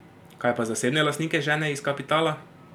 Kaj pa zasebne lastnike žene iz kapitala?